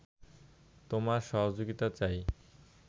তোমার সহযোগিতা চাই